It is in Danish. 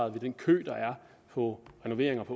af den kø der er på renoveringer i